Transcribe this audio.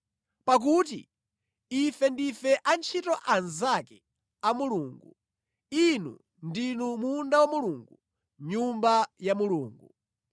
Pakuti ife ndife antchito anzake a Mulungu; inu ndinu munda wa Mulungu, Nyumba ya Mulungu.